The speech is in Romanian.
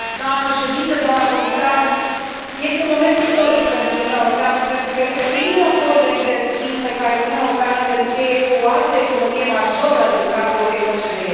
Doamnă președintă, doamnă comisar, este un moment istoric pentru Uniunea Europeană, pentru că este primul acord de liber schimb pe care Uniunea Europeană îl încheie cu o altă economie majoră din cadrul OCDE.